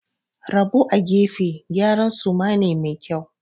Rabo a gefe gyaran suma ne mai kyau.